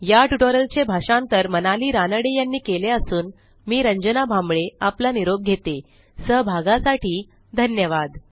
या ट्युटोरियलचे भाषांतर मनाली रानडे यांनी केले असून मी रंजना भांबळे आपला निरोप घेतेसहभागासाठी धन्यवाद